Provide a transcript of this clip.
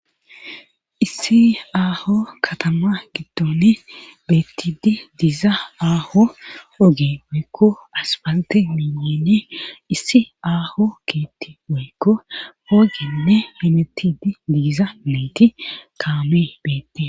Issi aaho katama giddone beettidi diiza aaho oge boykko asbalte minene issi aaho kiitti boykko hoogenne henetidi diiza meeti kaame beette.